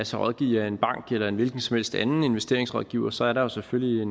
sig rådgive af en bank eller en hvilken som helst anden investeringsrådgiver så er der selvfølgelig